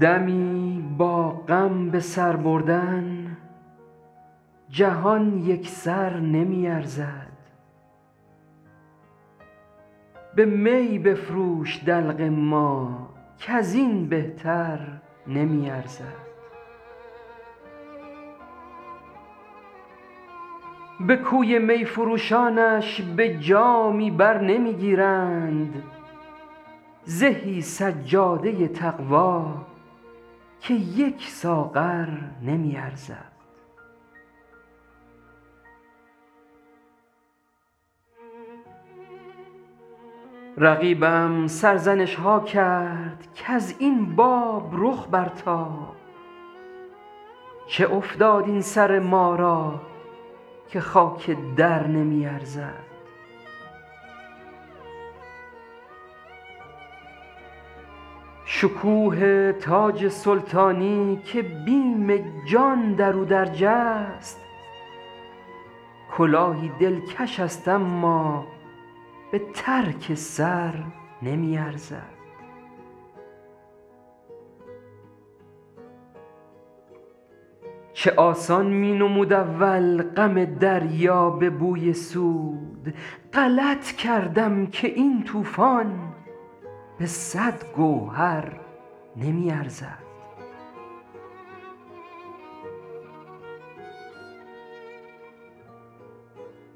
دمی با غم به سر بردن جهان یک سر نمی ارزد به می بفروش دلق ما کز این بهتر نمی ارزد به کوی می فروشانش به جامی بر نمی گیرند زهی سجاده تقوا که یک ساغر نمی ارزد رقیبم سرزنش ها کرد کز این باب رخ برتاب چه افتاد این سر ما را که خاک در نمی ارزد شکوه تاج سلطانی که بیم جان در او درج است کلاهی دلکش است اما به ترک سر نمی ارزد چه آسان می نمود اول غم دریا به بوی سود غلط کردم که این طوفان به صد گوهر نمی ارزد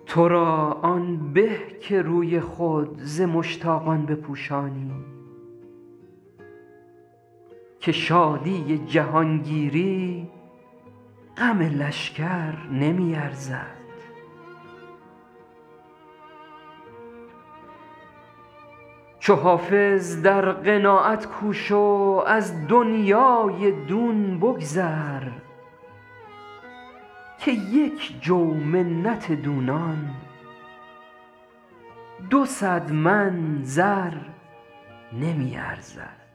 تو را آن به که روی خود ز مشتاقان بپوشانی که شادی جهانگیری غم لشکر نمی ارزد چو حافظ در قناعت کوش و از دنیای دون بگذر که یک جو منت دونان دو صد من زر نمی ارزد